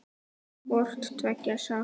Hvort tveggja sást.